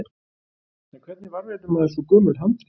En hvernig varðveitir maður svo gömul handrit?